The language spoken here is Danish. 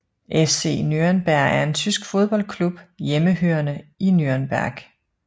FC Nürnberg er en tysk fodboldklub hjemmehørende i Nürnberg